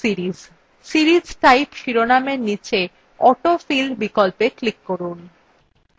series type শিরোনামের নীচে autofill বিকল্পে click করুন